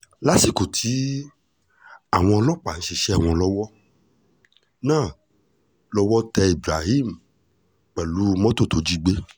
lásìkò táwọn ọlọ́pàá ń ṣiṣẹ́ wọn lọ́wọ́ náà lọ́wọ́ tẹ ibrahim pẹ̀lú mọ́tò tó jí gbé